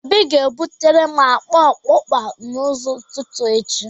Obi ga-ebutere m akpa ọpapa n'ụzọ ụtụtụ echi.